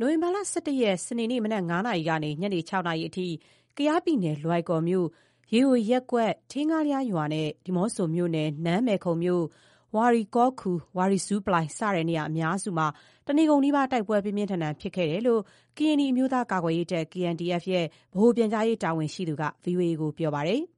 နိုဝင်ဘာ ၁၁ ရက် စနေနေ့ မနက် ၅ နာရီ ကနေ ညနေ ၆ နာရီအထိ ကယားပြည်နယ် လွိုင်ကော်မြို့ ရေယိုရပ်ကွက်၊ ထေးငှားလျားရွာနဲ့ ဒီးမော့ဆိုမြို့နယ် နန်းမယ်ခုံမြို့၊ ဝါရီကော်ခူ၊ ဝါရီဇူးပလိုင် စတဲ့ နေရာအများစုမှာ တနေ့ကုန်နီးပါး တိုက်ပွဲ ပြင်းပြင်းထန်ထန် ဖြစ်ပွားခဲ့တယ်လို့ ကရင်နီအမျိုးသားများ ကာကွယ်ရေးတပ် ဗဟိုပြန်ကြားရေးတာဝန်ရှိသူက ဗွီအိုအေကို ပြောပါတယ်။ “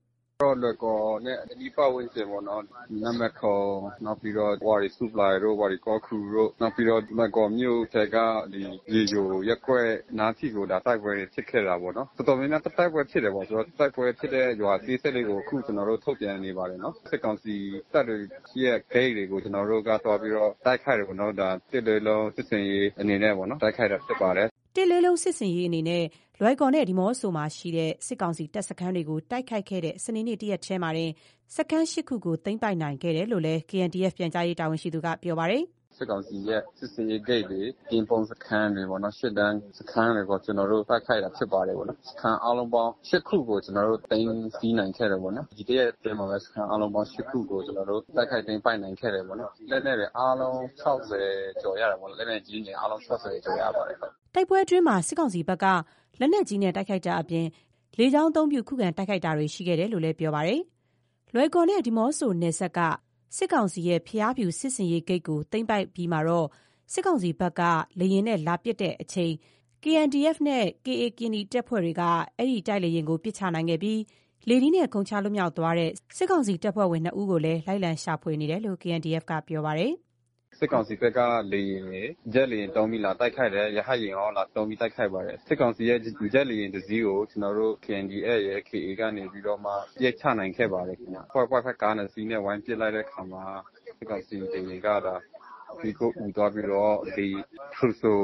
ဒီနေ့ကတော့ လွိုင်ကော်နဲ့ အနီးပတ်ဝန်းကျင်ပေါ့နော်၊ နန်းမယ်ခုံ နောက်ပြီးတော့ ဝါရီဇူးပလိုင်တို့ ဝါရီကော်ခူတို့ နောက်ပြီးတော့ လွိုင်ကော်မြို့ထဲက ရေယိုရပ်ကွက်နားထိကို ဒါ တိုက်ပွဲတွေ ဖြစ်ခဲ့တာပေါ့နော်။ တော်တော်များများ တိုက်ပွဲဖြစ်တယ်ပေါ့။ တိုက်ပွဲဖြစ်တဲ့ ရွာအသေးစိတ်တွေကို အခုကျနော်တို့ ထုတ်ပြန်နေပါတယ်နော်။ စစ်ကောင်စီတပ်တွေရဲ့ ဂိတ်တွေကို ကျနော်တို့က သွားပြီးတော့ တိုက်ခိုက်တယ်ပေါ့နော်။ ဒါ ၁ လေးလုံး စစ်ဆင်ရေး အနေနဲ့ တိုက်ခိုက်တာဖြစ်ပါတယ်။” ၁ လေးလုံး စစ်ဆင်းရေးအနေနဲ့ လွိုင်ကော်နဲ့ ဒီးမော့ဆိုမှာရှိတဲ့ စစ်ကောင်စီ တပ်စခန်းတွေကို တိုက်ခိုက်ခဲ့တဲ့ စနေနေ့ တရက်ထဲမှာတင် စခန်း ၈ ခု သိမ်းပိုက်နိုင်ခဲ့တယ်လို့လည်း KNDF ဗဟိုပြန်ကြားရေး တာဝန်ရှိသူက ပြောပါတယ်။ “စစ်ကောင်စီရဲ့ စစ်ဆင်ရေးဂိတ်တွေ၊ ကင်းပုန်း စခန်းတွေပေါ့နော်။ ရှေ့တန်းစခန်းတွေကို ကျနော်တို့ တိုက်ခိုက်တာဖြစ်ပါတယ်။ စခန်း အားလုံးပေါင်း ၈ ခုကို ကျနော်တို့ သိမ်းဆည်းနိုင်ခဲ့တယ်ပေါ့နော်။ ဒီတရက်အတွင်းမှာပဲ စခန်းအားလုံးပေါင်း ၈ ခုကို ကျနော်တို့ တိုက်ခိုက်သိမ်းပိုက် နိုင်ခဲ့တယ်ပေါ့နော်။ လက်နက်တွေ အားလုံး ၆၀ ကျော်ရတယ်ပေါ့နော်၊ လက်နက်ကြီးတွေ အားလုံး ၆၀ ကျော် ရပါတယ်။” တိုက်ပွဲအတွင်းမှာ စစ်ကောင်စီဘက်က လက်နက်ကြီးနဲ့ တိုက်ခိုက်တာအပြင် လေကြောင်းကနေ ခုခံ တိုက်ခိုက်ခဲ့တယ်လို့လည်း ပြောပါတယ်။ လွိုင်ကော်နဲ့ ဒီးမော့ဆို နယ်စပ်က စစ်ကောင်စီရဲ့ ဘုရားဖြူ စစ်ဆင်ရေးဂိတ်ကို သိမ်းပိုက်လိုက်တဲ့ အပြီးမှာ စစ်ကောင်စီဘက်က လေယာဉ်နဲ့ လာပစ်ချိန် KNDF နဲ့ KA ကရင်နီတပ်ဖွဲ့တွေက အဲ့ဒီတိုက်လေယာဥ်ကို ပစ်ချနိုင်ခဲ့ပြီး လေထီးနဲ့ ခုန်ချလွတ်မြောက်သွားတဲ့ စစ်ကောင်စီတပ်ဖွဲ့ ၂ ဦးကိုလည်း လိုက်လံ ရှာဖွေနေတယ်လို့ KNDF က ပြောပါတယ်။ “စစ်ကောင်စီဘက်က လေယာဉ်တွေ ဂျက်သုံးပြီး လာတိုက်ခိုက်တယ်။ ရဟက်ယာဉ်ရော လာသုံးပြီး တိုက်ခိုက်ပါတယ်။ စစ်ကောင်စီရဲ့ ဂျက်လေယာဉ်တစ်စီးကို ကျနော်တို့ KNDF ရယ် KA ကနေပြီးတော့မှ ပစ်ချနိုင်ခဲ့ပါတယ်ခင်ဗျ။ 4.5 ကား နှစ်စီးနဲ့ ဝိုင်းပစ်လိုက်တဲ့အခါမှာ စစ်ကောင်စီ လေယာဉ်က ဒါ…မီးခိုအူသွားပြီးတော့ ဒီဖရူဆို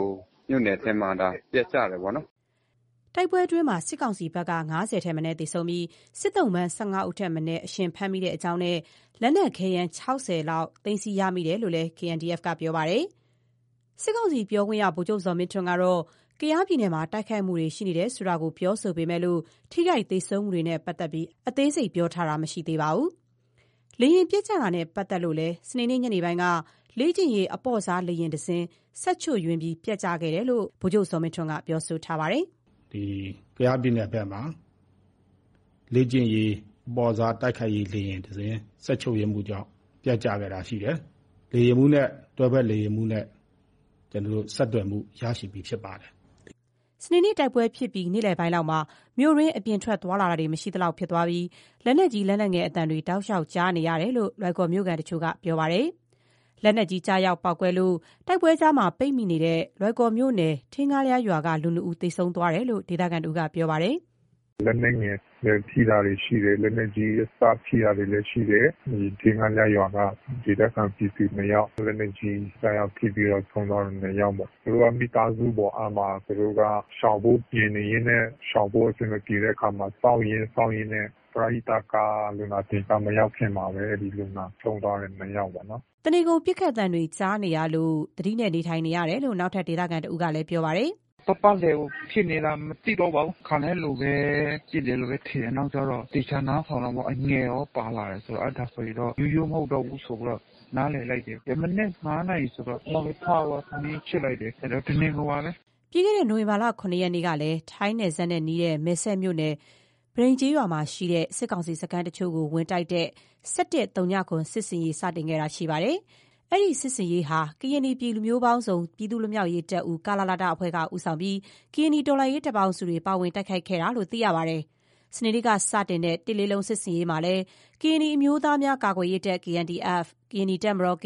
မြို့နယ်ထဲမှာ ပျက်ကျတယ်ပေါ့နော်။” တိုက်ပွဲအတွင်းမှာ စစ်ကောင်စီဘက်က ၅၀ ထက်မနည်း သေဆုံးပြီး စစ်သုံ့ပန်း ၁၅ ဦးထက်မနည်း အရှင်ဖမ်းမိကြောင်းနဲ့ လက်နက်ခဲယမ်း ၆၀ လောက် သိမ်းဆည်းရမိတယ်လို့လည်း ပြောပါတယ်။ စစ်ကောင်စီ ပြောခွင့်ရ ဗိုလ်ချုပ်ဇော်မင်းထွန်း ကတော့ ကယားပြည်နယ်မှာ တိုက်ခိုက်မှုတွေ ရှိနေတယ်ဆိုတာကို ပြောဆိုပေမဲ့ ထိခိုက် သေဆုံးမှုတွေနဲ့ ပတ်သက်ပြီး အသေးစိတ် မပြောပါဘူး။ လေယာဥ် ပျက်ကျခဲ့တာနဲ့ ပတ်သက်လို့လည်း စနေနေ့ ညနေပိုင်းက လေ့ကျင့်ရေး အပေါ့စား လေယာဥ်တစီး စက်ချို့ယွင်းမှုကြောင့် ပျက်ကျခဲ့တာလို့ Viber လူမှုကွန်ရက်ကတဆင့် ဗိုလ်ချုပ်ဇော်မင်းထွန်းက ပြောဆိုထားပါတယ်။ လွိုင်ကော် ဒေသခံတွေကတော့ စနေနေ့ တိုက်ပွဲဖြစ်ပြီး နေ့ခင်းပိုင်းလောက်မှာ မြို့တွင်း အပြင်ထွက်သွားလာတာ မရှိသလောက် ဖြစ်သွားပြီး လက်နက်ကြီး လက်နက်ငယ် အသံတွေ တောက်လျှောက်ကြားနေရတာလို့ ပြောဆိုကြပါတယ်။ လက်နက်ကြီး ကျရောက်ပေါက်ကွဲလို့ တိုက်ပွဲကြားမှာ ပိတ်မိနေတဲ့ လွိုင်ကော်မြို့နယ် ထေးငှားလျားရွာက လူ ၂ ဦး သေဆုံးသွားတယ်လို့ ဒေသခံတဦးက ပြောပါတယ်။ “လက်နက်ငယ်ထိတာတွေ ရှိတယ်။ လက်နက်ကြီးအစ ထိတာတွေလည်း ရှိတယ်။ ဒီ ထေးငှားလျားရွာက ဒေသခံပြည်သူ ၂ယောက် လက်နက်ကြီး ကျရောက် ထိပြီးတော့ ဆုံးသွားတာ ၂ ယောက်ပေါ့။ သူတို့က မိသားစုပေါ့။ အဲ့မှာ ရှောင်ဖို့ ပြင်နေရင်းနဲ့ ရှောင်ဖို့ အဆင်မပြေတဲ့အခါမှာ စောင့်ရင်း စောင့်ရင်းနဲ့ ပရဟိတကား လူနာတင်ကား မရောက်ခင်မှာပဲ အဲ့ဒီလူနာ ဆုံးသွားတယ်။ ၂ ယောက်ပေါ့နော်။” တနေကုန် ပစ်ခတ်သံတွေ ကြားနေရလို့ သတိနဲ့ နေထိုင်နေရတယ်လို့ နောက်ထပ် ဒေသခံတဦးကလည်း ပြောပါတယ်။ “ပတ်ပတ်လည်ကို ပစ်နေတာ မသိတော့ဘူးပါဘူး။ ခါတိုင်းလိုကပဲ ပစ်တယ်လို့ပဲထင်တယ်။ နောက်ကျတော့ သေချာနားထောင်တာပေါ့။ လက်နက်အငယ်ရော ပါလာတယ်ဆိုတော့ အဲ့ဒါဆိုရင်တော့ ရိုးရိုးမဟုတ်တော့ဘူး ဆိုပြီးတော့ နားလည်လိုက်တယ်။ မနက် ၅ နာရီဆိုတော့ ထပြီးတော့ ထမင်းချက်လိုက်တယ်။ တနေ့ကုန်ပါပဲ ဖြစ်တာ။” ပြီးခဲ့တဲ့ နိုဝင်ဘာ ၇ ရက်နေ့ကလည်း ထိုင်းနယ်စပ်နဲ့ နီးတဲ့ မယ်စဲ့မြို့နယ် ပန်တိန်းကျေးရွာမှာရှိတဲ့ စစ်ကောင်စီ စခန်းတချို့ကို ဝင်တိုက်တဲ့ ၁၁၀၇ စစ်ဆင်ရေး စတင်ခဲ့တာ ရှိပါတယ်။ အဲ့ဒီ စစ်ဆင်ရေးဟာ ကရင်နီပြည် လူမျိုးပေါင်းစုံ ပြည်သူ့လွတ်မြောက်ရေးတပ်ဦး အဖွဲ့က ဦးဆောင်ပြီး ကရင်နီတော်လှန်ရေး တပ်ပေါင်းစုတွေ ပါဝင် တိုက်ခိုက်ခဲ့တယ်လို့ သိရပါတယ်။ စနေနေ့က ၁ လေးလုံး စစ်ဆင်ရေးမှာလည်း ကရင်နီအမျိုးသားများကာကွယ်ရေးတပ် ၊ ကရင်နီတပ်မတော် ၊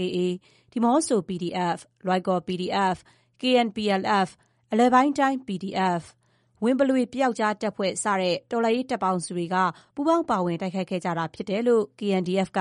ဒီးမော့ဆို PDF၊ Loikaw PDF၊ KNPLF၊ အလယ်ပိုင်းတိုင်း PDF၊ ဝံပလွေပြောက်ကျား တပ်ဖွဲ့ စတဲ့ တော်လှန်ရေး တပ်ပေါင်းစုတွေက ပူးပေါင်း တိုက်ခိုက်ခဲ့ကြတာ ဖြစ်တယ်လို့ KNDF က